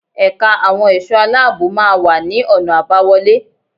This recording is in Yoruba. Ẹ̀ka àwọn ẹ̀ṣọ́ aláàbò máa wà ní ọ̀nà àbáwọlé.